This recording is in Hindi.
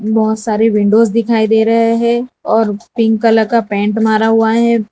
बहोत सारे विंडोज दिखाई दे रहे हैं और पिंक कलर का पेंट मारा हुआ है।